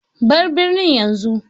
Ba birnin yanzu!